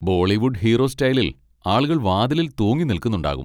Bollywood hero സ്റ്റൈലിൽ ആളുകൾ വാതിലിൽ തൂങ്ങി നിൽക്കുന്നുണ്ടാകും.